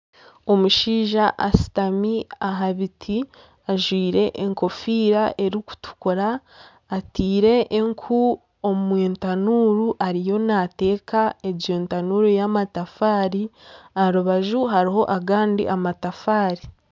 Omushaija ashutami aha biti, ajwire enkofiira erikutukura, ataire enku omu tanuuru ariyo naateeka egyo tanuuru y'amatafaari aha rubaju hariho agandi matafaari